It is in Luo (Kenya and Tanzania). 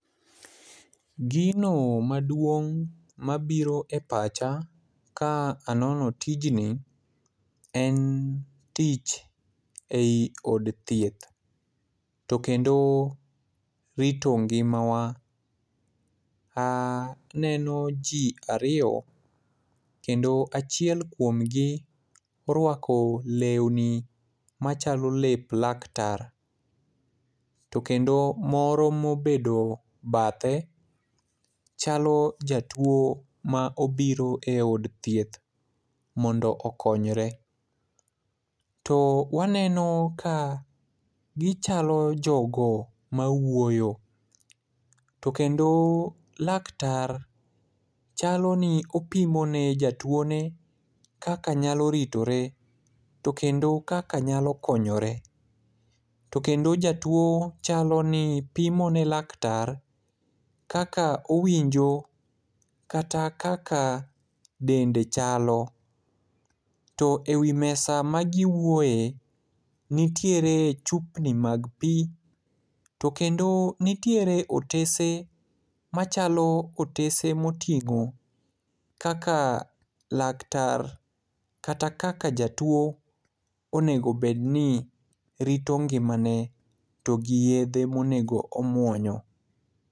Gino maduong' mabiro e pacha ka anono tijni en tich ei od thieth, to kendo rito ngimawa. Aneno ji ariyo kendo achiel kuomgi orwako lewni machalo lep laktar, to kendo moro mobedo bathe ,chalo jatuwo ma obiro e od thieth, mondo okonyre. To waneno ka gichalo jogo mawuoyo, to kendo laktar chaloni opimone jatuwone kaka nyalo ritore, to kendo kaka nyalo konyore, to kendo jatuwo chaloni pimone laktar kaka ownjo kata kaka dende chalo, to e wi mesa magiwuoye, nitiere chupni mag pi, to kende nitiere otese machalo otese moting'o kaka laktar kata kaka jatuwo onego obed ni rito ngimane to gi yedhe monego omwonyo.